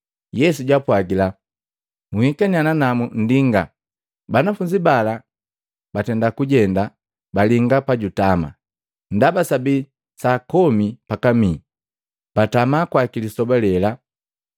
Yesu jaapwajila, “Nhikaniya nanamu nndinga.” Banafunzi bala bajendaniya balinga pajutama, ndaba sabii saa komi pakamii, batama kwaki lisoba lela.